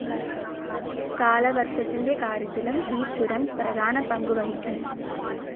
കാലവർഷത്തിന്റെ കാര്യത്തിലും ഈ ചുരം പ്രധാന പങ്കു വഹിക്കുന്നു.